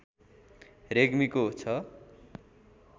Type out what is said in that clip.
रेग्मीको छ